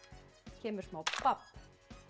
kemur smá babb